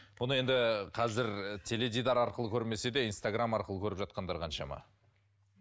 бұны енді қазір теледидар арқылы көрмесе де инстаграмм арқылы көріп жатқандар қаншама